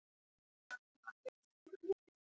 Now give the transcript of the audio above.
Elsku amma Didda mín.